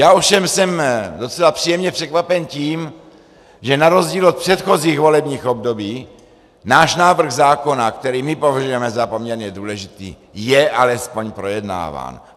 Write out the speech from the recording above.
Já ovšem jsem docela příjemně překvapen tím, že na rozdíl od předchozích volebních období náš návrh zákona, který my považujeme za poměrně důležitý, je alespoň projednáván.